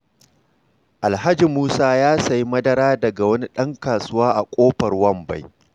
Alhaji Musa ya sayi madara daga wani ɗan kasuwa a ƙofar Wambai.